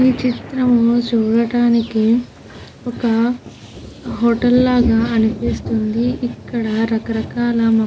ఈ చిత్రం చూడడానికి ఒక హోటల్ లాగా అనిపిస్తుంది. ఇక్కడ రకరకాల మొ --